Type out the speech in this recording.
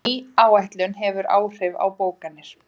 Ný áætlun hefur áhrif á bókanir